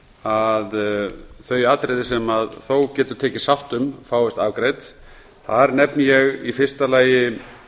að þau atriði sem þó getur tekist sátt um fáist afgreidd þar nefni ég í fyrsta lagi